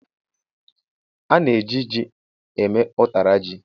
A na-eji ji eme ụtara ji.